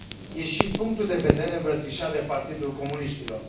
E și punctul de vedere îmbrățișat de Partidul Comuniștilor.